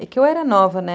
É que eu era nova, né?